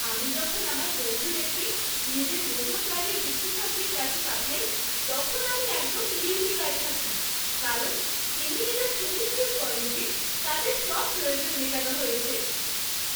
আমি যখন আমার বন্ধুদেরকে নিজের মোটরগাড়ির বিশেষজ্ঞের কাছে পাঠাই তখন আমি একদম নির্বিকার থাকি কারণ তিনি এটা সুনিশ্চিত করেন যে তাদের সব প্রয়োজন মেটানো হয়েছে।